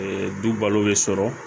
du balo bɛ sɔrɔ